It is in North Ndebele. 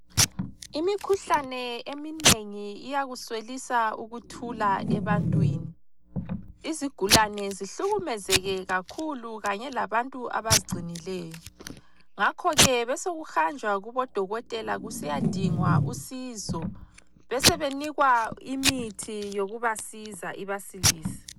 Imikhuhlane eminengi iyakuswelisa ukuthula ebantwini. Izigulane zihlukumezeke kakhulu kanye labantu abazigcinileyo, ngakho ke besekuhanjwa kubodokotela kusiyadingwa usizo besebenikwa imithi yokubasiza ibasilise.